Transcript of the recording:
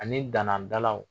Ani danan dalaw